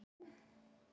Leyfa ykkur að fara?